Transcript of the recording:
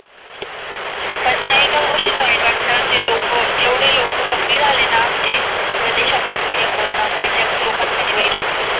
त्या एका गोष्टी चा वाईट वाट तात ते लोक जेवढे लोकं कमी झाले ना म्हणजे प्रदेशा तून च्या कोरना मुळे त्या लोकांसाठी वाईट वाटतं.